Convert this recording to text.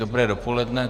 Dobré dopoledne.